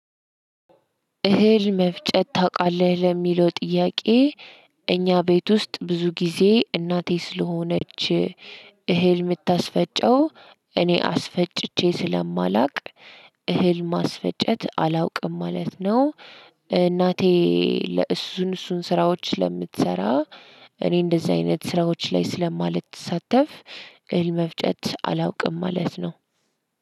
እህል መፍጨት ታውቃለህ ለሚለው ጥያቄ እኛ ቤት ውስጥ ብዙ ጊዜ እናቴ ስለሆነች እህል ምታስፈጨው እኔ አስፈጭቼ ስለማላውቅ እህል ማስፈጨት አላውቅም ማለት ነው። እናቴ ለእሱን እሱን ስራዎች ስለምትሰራ እኔ እንደዚህ አይነት ስራዎች ላይ ስለማልተሳተፍ እህል መፍጨት አላውቅም ማለት ነው።